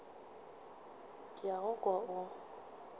ke a go kwa o